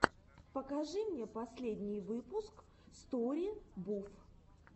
покажи мне последний выпуск стори буф